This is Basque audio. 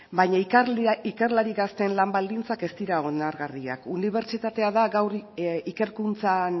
baina ikerlari gazteen lan baldintzak ez dira onargarriak unibertsitatea da gaur ikerkuntzan